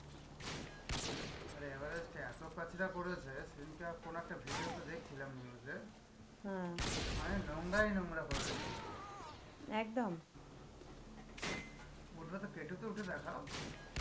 আরে এভারেস্ট এতো কাঁচরা করেছে সেদিনকে কোনো একটা video তে দেখছিলাম news এ মানে নোংরাই নোংরা করে রেখে দিয়েছে. ওটাতে পেটোতে উঠে দেখাও.